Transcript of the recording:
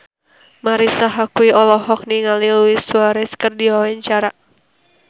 Marisa Haque olohok ningali Luis Suarez keur diwawancara